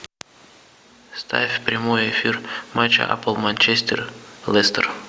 ставь прямой эфир матча апл манчестер лестер